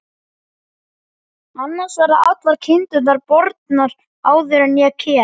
Annars verða allar kindurnar bornar áður en ég kem.